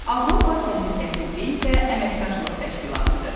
Avropa Təhlükəsizlik və Əməkdaşlıq Təşkilatıdır.